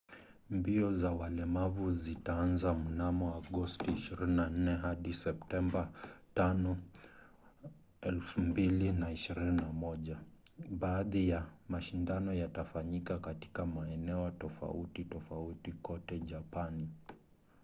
mbio za walemavu zitaanza mnamo agosti 24 hadi septemba 5 2021. baadhi ya mashindano yatafanyika katika maeneo tofauti tofauti kote japani